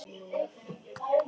Hvað segið þið um lyf?